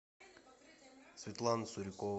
светлана сурикова